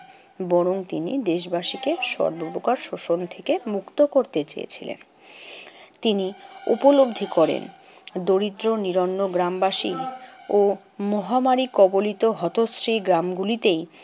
বরং তিনি দেশবাসীকে সর্বপ্রকার শোষণ থেকে মুক্ত করতে চেয়েছিলেন। তিনি উপলব্ধি করেন দরিদ্র নিরন্ন গ্রামবাসী ও মহামারী কবলিত হতশ্রী গ্রামগুলিতেই